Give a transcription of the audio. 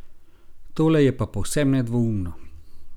Tole je pa povsem nedvoumno.